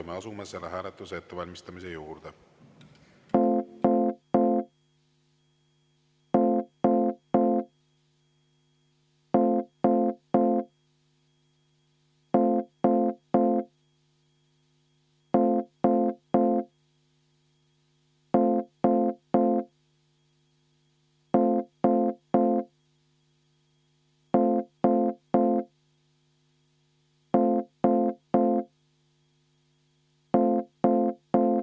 Me asume selle hääletuse ettevalmistamise juurde.